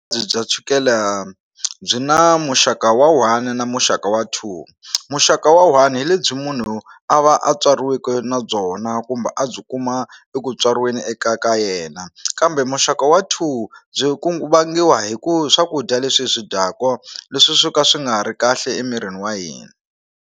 bya chukele byi na muxaka wa one na muxaka wa two muxaka wa one hi lebyi munhu a va a tswariweke na byona kumbe a byi kuma eku tswariweni eka ka yena kambe muxaka wa two byi ku vangiwa hi ku swakudya leswi hi swi dyaku leswi swo ka swi nga ha ri kahle emirini wa hina.